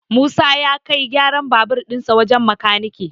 Musa ya kai gyaran babur dinsa wajen makanike